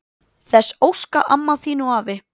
Þess óska amma þín og afi.